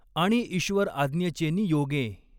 आणि ईश्वर आज्ञेचेनि योगें।